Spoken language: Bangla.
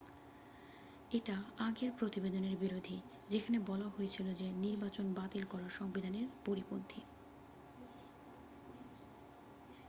এটা আগের প্রতিবেদনের বিরোধী যেখানে বলা হয়েছিল যে নির্বাচন বাতিল করা সংবিধানের পরিপন্থী